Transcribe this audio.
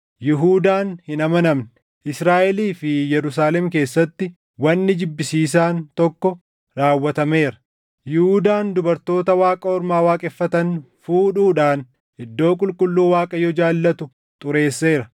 Yihuudaan hin amanamne. Israaʼelii fi Yerusaalem keessatti wanni jibbisiisaan tokko raawwatameera; Yihuudaan dubartoota waaqa ormaa waaqeffatan fuudhuudhaan iddoo qulqulluu Waaqayyo jaallatu xureesseera.